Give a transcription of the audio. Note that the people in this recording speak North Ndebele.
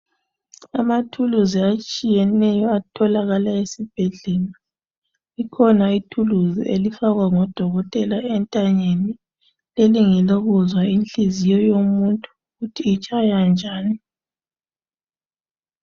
Amathuluzi atshiyeneyo atholakala esibhedlela ikhona ithuluzi elifakwa ngodokotela entanyeni leli ngelokuzwa inhliziyo yomuntu ukuthi itshaya njani.